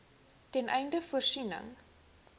ten einde voorsiening